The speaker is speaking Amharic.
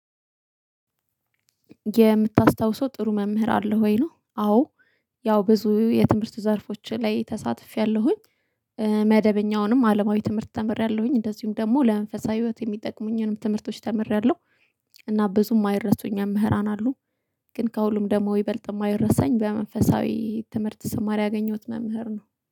የምታስታውሰው ጥሩ መምህር አለው ወይ ነው? አዎ ያው ብዙ የትምህርቱ ዘርፎች ላይ ተሳትፌያለሁኝ፤። መደበኛውንም አለማዊ ትምህርት ተምሬያለሁኝ እንደዚሁም ደግሞ ለመንፈሳዊ ህይወት የሚጠቅሙኝንም ትምህርቶች ተምሬያለሁ፤። እና ብዙ የማይረሱኝ መምህራን አሉ፤። ግን ከሁሉም ደሞ ይበልጥ የማይረሳኝ በመንፈሳዊ ትምህርት ሰማር ያገኘሁት መምህር ነው፤